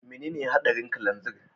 Menene hadarin kananzir?